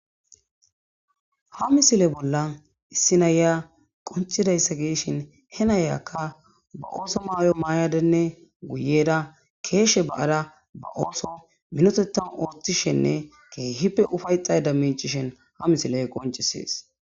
ha misile bolla issinaya qoncidayssa geeshin he nayakka ba ooso maayo maayadenne guyeda keeshe ba7ara ba ooso minotetan ooththishenne keehippe ufayxay da micishen ha misiley qoncisees